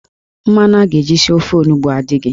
Mmanụ a ga-eji sie ofe onugbo a adịghị.